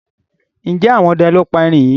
Njé ẹgbẹ àwọn ọdẹ ló pá èrin yí?